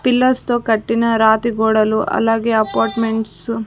Pillars తో కట్టిన రాతి గోడలు అలాగే అపార్ట్మెంట్స్ .